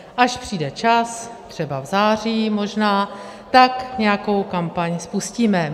Až přijde čas, třeba v září - možná, tak nějakou kampaň spustíme.